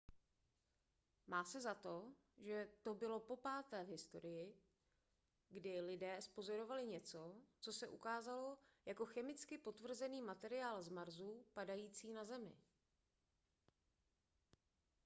má se za to že to bylo popáté v historii kdy lidé zpozorovali něco co se ukázalo jako chemicky potvrzený materiál z marsu padající na zemi